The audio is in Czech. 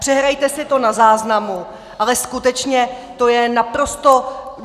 Přehrajte si to na záznamu, ale skutečně, to je naprosto...